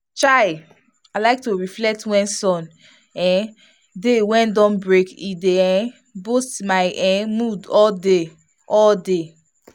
chai! i like to reflect wen sun um dey wen day don break e dey um boost my[um]mood all mood all day.